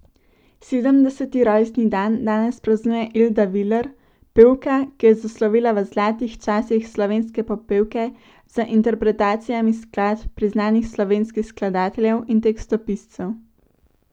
Sedemdeseti rojstni dan danes praznuje Elda Viler, pevka, ki je zaslovela v zlatih časih slovenske popevke z interpretacijami skladb priznanih slovenskih skladateljev in tekstopiscev.